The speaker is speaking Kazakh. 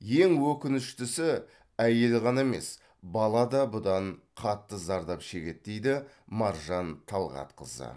ең өкініштісі әйел ғана емес бала да бұдан қатты зардап шегеді дейді маржан талғатқызы